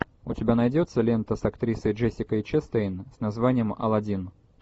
у тебя найдется лента с актрисой джессикой честейн с названием алладин